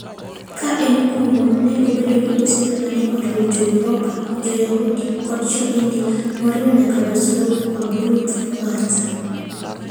Ka en kuno, ne obedo gi osiepe ma ne oriwo Jo-Yuropa, Jo-Yahudi, koda Jo-India, moriwo nyaka Joe Slovo kod Ruth Kwanza.